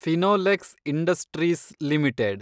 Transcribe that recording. Finolex industries limited